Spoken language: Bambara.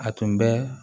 A tun bɛ